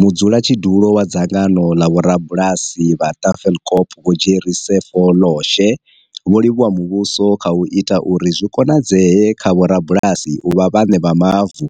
Mudzulatshidulo wa dzangano ḽa vho rabulasi vha Tafelkop vho Jerry Sefo loshe vho livhuwa muvhuso kha u ita uri zwi konadzee kha vho rabulasi u vha vhaṋe vha mavu